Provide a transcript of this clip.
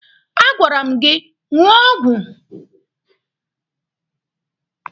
A gwara m gị ṅụọ ọgwụ!